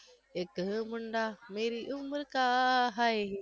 ઈક મુંડા મેરી ઉમ્ર કા હાય